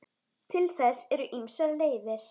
Til þess eru ýmsar leiðir.